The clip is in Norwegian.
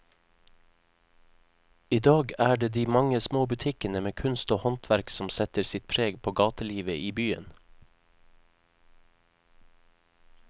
I dag er det de mange små butikkene med kunst og håndverk som setter sitt preg på gatelivet i byen.